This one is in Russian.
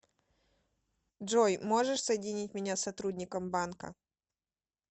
джой можешь соединить меня с сотрудником банка